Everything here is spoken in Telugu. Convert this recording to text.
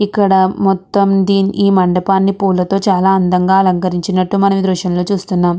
ఇక్కడ మొత్తం దీని మండపాన్ని పూలతో చాల ఆనందం గ అలంకరించినటు మనం ఈ దృశ్యం లో చూస్తున్నం.